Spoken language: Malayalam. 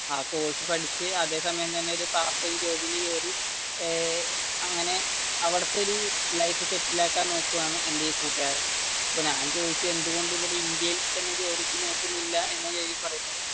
ആ കോഴ്സ് പഠിച്ചു അതെ സമയം എന്തെങ്കിലും ഒരു പാർട്ട് ടൈം ജോബ് നു കേറി ഏർ അങ്ങനെ അവിടത്തെ ഒരു ലൈഫ് സെറ്റില് ആക്കാൻ നോക്കുവാണ്. എന്റെ ഈ കൂട്ടുകാരൻ ഇപ്പൊ ഞാൻ ചോയ്ച്ചത് എന്ത് കൊണ്ട്